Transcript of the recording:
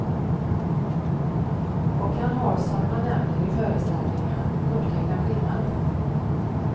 Och han har, som han nämner i föreställningen, upptäckt en skillnad.